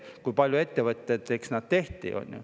Oleneb, kui palju ettevõteteks tehti.